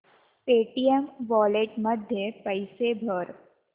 Paytm wallet मध्ये पैसे भर